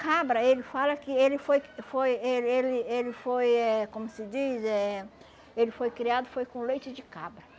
Cabra, ele fala que ele foi foi ele ele ele foi eh como se diz eh ele foi criado foi com leite de cabra.